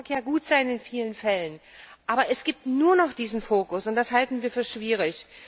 Das mag ja in vielen Fällen gut sein, aber es gibt nur noch diesen Fokus, und das halten wir für schwierig.